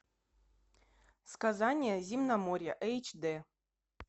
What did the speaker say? сказания земноморья эйч дэ